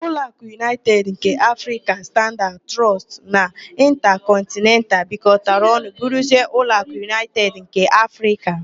Ụlọakụ Unaịted nke Afrịka, Standaad Trọọst na Ịntakọntnental bịakotara ọnụ bụrụzie Ụlọakụ Unaịted nke Afrịka.